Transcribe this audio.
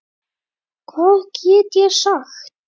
Hvað get ég sagt.